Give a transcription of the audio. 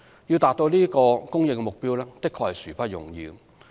要達到這項供應目標的確殊不容易。